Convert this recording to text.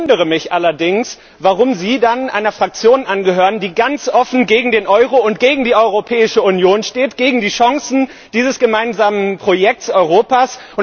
Ich wundere mich allerdings, warum Sie dann einer Fraktion angehören, die ganz offen gegen den Euro und gegen die Europäische Union steht, gegen die Chancen dieses gemeinsamen Projekts Europas.